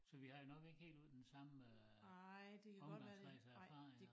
Så vi har jo nok ikke helt den samme øh omgangskreds og erfaringer